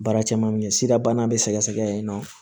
Baara caman bɛ ye sidabana bɛ sɛgɛsɛgɛ yen nɔ